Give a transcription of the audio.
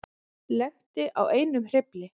Lenti á einum hreyfli